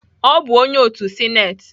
Ọ bụ onye otu sinetị